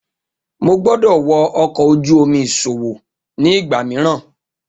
Mo gbọdọ wọ ọkọ oju-omi iṣowo ni igba miiran.